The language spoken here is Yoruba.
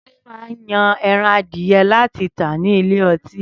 Túndé máa yan ẹran adìẹ láti tà ní ilé ọtí.